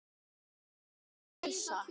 hrópaði Elsa.